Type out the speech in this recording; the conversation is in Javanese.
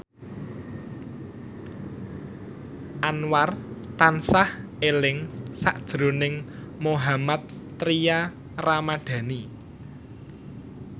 Anwar tansah eling sakjroning Mohammad Tria Ramadhani